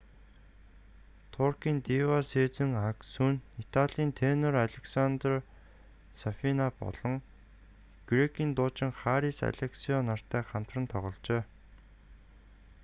туркийн дива сезен аксү нь италийн тенор алессандро сафина болон грекийн дуучин харис алексиоу нартай хамтран тогложээ